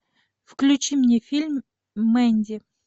включи мне фильм мэнди